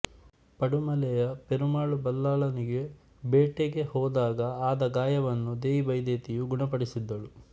ಪಡುಮಲೆಯ ಪೆರುಮಾಳು ಬಲ್ಲಾಳನಿಗೆ ಬೇಟೆಗೆ ಹೋದಾಗ ಆದ ಗಾಯವನ್ನು ದೇಯಿ ಬೈದೆತಿಯು ಗುಣಪಡಿಸಿದ್ದಳು